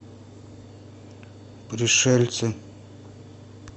пришельцы